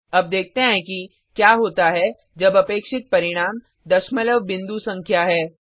अब देखते हैं कि क्या होता है जब अपेक्षित परिणाम दशमलव बिंदु संख्या है